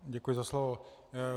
Děkuji za slovo.